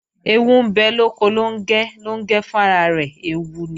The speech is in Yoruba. Ẹẹwu ń bẹ lóko Lóngẹ́, Lóngẹ́ fún ara rẹ̀ ẹẹwu ni